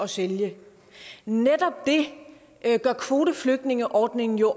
sælge netop det gør kvoteflygtningeordningen jo